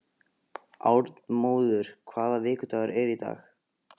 Arnmóður, hvaða vikudagur er í dag?